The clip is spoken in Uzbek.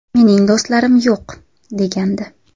Mening do‘stlarim yo‘q”, – degandi.